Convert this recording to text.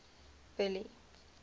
billy